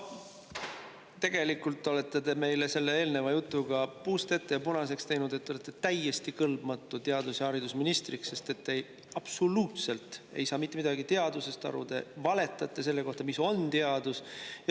No tegelikult olete te meile selle eelneva jutuga puust ja punaseks teinud, et te olete täiesti kõlbmatu teadus- ja haridusministriks, sest te ei saa absoluutselt mitte midagi aru teadusest, te valetate selle kohta, mis on teadus.